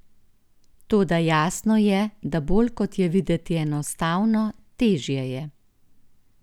Toda jasno je, da bolj kot je videti enostavno, težje je.